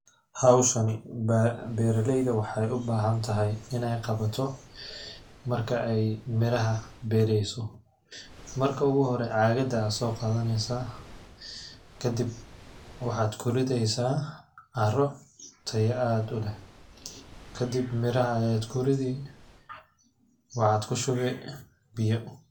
Hawshani beeralayda waxa ay u baahan tahay ineey qawato marka ay miraha beerayso marka igu hore caagada ayaa soo qadaneysaa ,kadib waxaad ku rideysaa carro tayo aad u leh kadib miraha ayaad ku ridi ,waxaad ku shubi biyo .